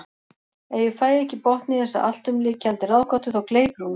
Ef ég fæ ekki botn í þessa alltumlykjandi ráðgátu þá gleypir hún mig.